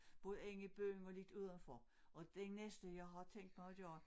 Både inde i byen og lidt udenfor og det næste jeg har tænkt mig at gøre